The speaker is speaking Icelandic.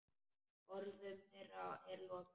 Orðum þeirra er lokið.